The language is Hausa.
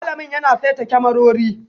Alamin yana saita kyamarori